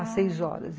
às seis horas, ah...